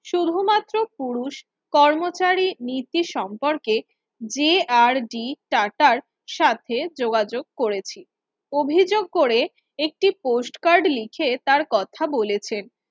শুধুমাত্র পুরুষ কর্মচারী নীতি সম্পর্কে যে আর ডি টাটার সাথে যোগাযোগ করেছি অভিযোগ করে একটি Post Card লিখে তার কথা বলেছেন